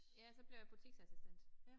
Ja så blev jeg butiksassistent